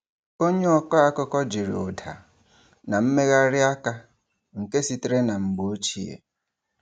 Onye ọkọ akụkọ jiri ụda na mmegharị aka nke sitere na mgbe ochie.